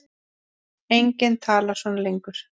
Enginn talar svona lengur.